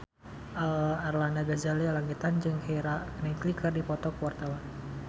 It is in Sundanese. Arlanda Ghazali Langitan jeung Keira Knightley keur dipoto ku wartawan